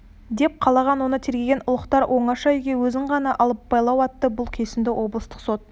деп қалған оны тергеген ұлықтар оңаша үйге өзін ғана алып байлау айтты бұл кесімді облыстық сот